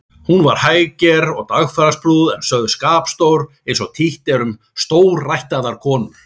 Hún var hægger og dagfarsprúð en sögð skapstór eins og títt er um stórættaðar konur.